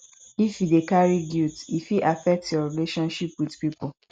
if you you dey carry guilt e fit affect your relationship wit pipo